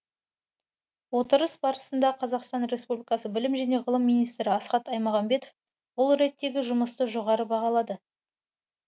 отырыс барысында қазақстан республикасы білім және ғылым министрі асхат аймағамбетов бұл реттегі жұмысты жоғары бағалады